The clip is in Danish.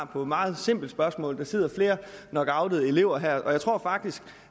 på et meget simpelt spørgsmål der sidder flere lockoutede elever her og jeg tror faktisk